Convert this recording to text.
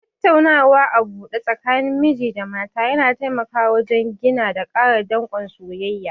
Tattaunawa a buɗe tsakanin miji da mata yana taimawa wajen gina da ƙara danƙon soyayya.